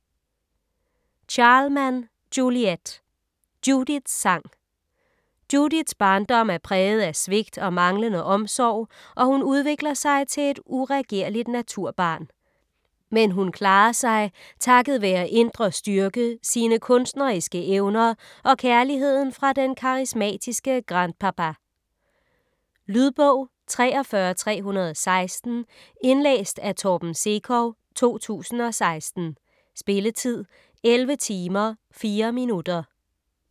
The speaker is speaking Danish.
Charleman, Juliette: Judiths sang Judiths barndom er præget af svigt og manglende omsorg, og hun udvikler sig til et uregerligt naturbarn. Men hun klarer sig takket være indre styrke, sine kunstneriske evner og kærligheden fra den karismatiske grand-papa. Lydbog 43316 Indlæst af Torben Sekov, 2016. Spilletid: 11 timer, 4 minutter.